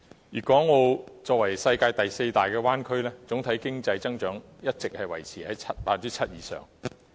粵港澳作為世界第四大灣區，總體經濟增長一直維持在 7% 以上。